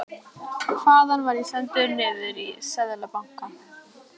Þaðan var ég sendur niður í Seðlabanka.